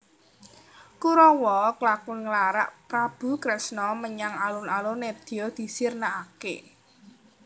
Kurawa klakon nglarak Prabu Kresna menyang alun alun nedya disirnakake